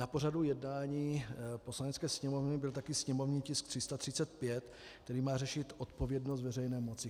Na pořadu jednání Poslanecké sněmovny byl také sněmovní tisk 335, který má řešit odpovědnost veřejné moci.